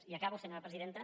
i acabo senyora presidenta